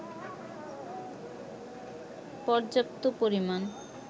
পর্যাপ্ত পরিমাণ